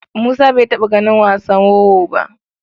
Musa bai taɓa ganin wasan wowo ba.